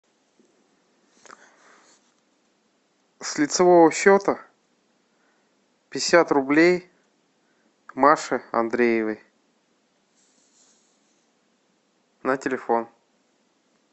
с лицевого счета пятьдесят рублей маше андреевой на телефон